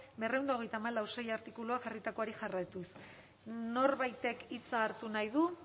berrehun eta hogeita hamalau puntu sei artikuluak jarritakoari jarraituz norbaitek hitza hartu nahi du